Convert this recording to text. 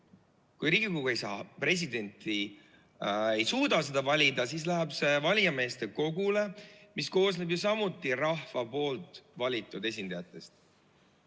Kui Riigikogu ei suuda presidenti valida, siis läheb see ülesanne valijameeste kogule, mis koosneb ju samuti rahva valitud esindajatest.